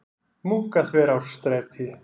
Munkaþverárstræti